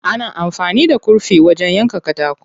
Ana amfani da kurfi wajen yanka katako.